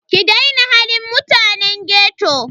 Ki daina halin mutanen ghetto.